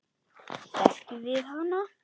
Þekkjum við hana?